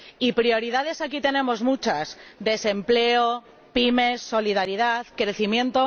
Y prioridades, aquí tenemos muchas desempleo, PYME, solidaridad, crecimiento.